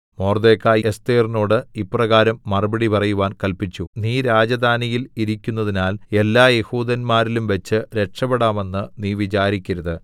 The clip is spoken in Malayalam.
മൊർദെഖായി എസ്ഥേറിനോട് ഇപ്രകാരം മറുപടി പറയുവാൻ കല്പിച്ചു നീ രാജധാനിയിൽ ഇരിക്കുന്നതിനാൽ എല്ലാ യെഹൂദന്മാരിലുംവച്ച് രക്ഷപെടാമെന്ന് നീ വിചാരിക്കരുത്